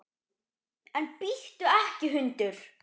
En bíttu ekki, hundur!